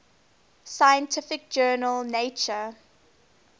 scientific journal nature